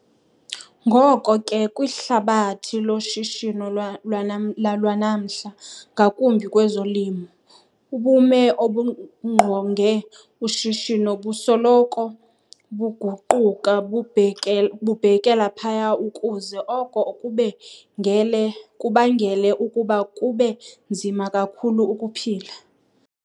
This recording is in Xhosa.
Ngoko ke, kwihlabathi loshishino lwanamhla, ngakumbi kwezolimo, ubume obungqonge ushishino busoloko buguquka bubhekela phaya ukuze oko kubangele ukuba kube nzima kakhulu ukuphila.